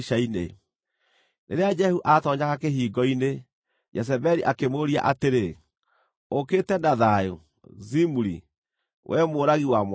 Rĩrĩa Jehu aatoonyaga kĩhingo-inĩ, Jezebeli akĩmũũria atĩrĩ, “Ũũkĩte na thayũ, Zimuri, wee mũũragi wa mwathi waku?”